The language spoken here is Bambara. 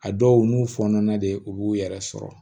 A dɔw n'u fɔnɔna de u b'u yɛrɛ sɔrɔ